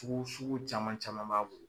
Pu su caman caman b'a bolo.